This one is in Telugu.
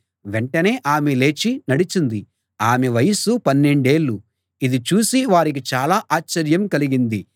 వెంటనే ఆమె లేచి నడిచింది ఆమె వయస్సు పన్నెండేళ్ళు ఇది చూసి వారికి చాలా ఆశ్చర్యం కలిగింది